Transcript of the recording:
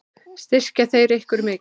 Styrkja þeir ykkur mikið?